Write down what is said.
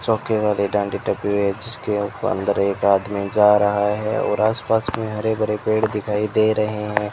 चौकी वाले जिसके अंदर एक आदमी जा रहा है और आस पास में हरे भरे पेड़ दिखाई दे रहे हैं।